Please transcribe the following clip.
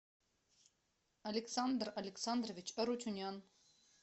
александр александрович арутюнян